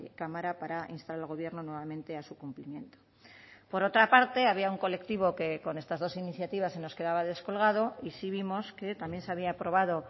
cámara para instar al gobierno nuevamente a su cumplimiento por otra parte había un colectivo que con estas dos iniciativas se nos quedaba descolgado y sí vimos que también se había aprobado